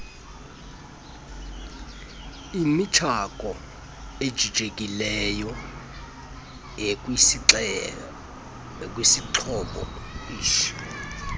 imichako ejijekileyo ekwisixhobo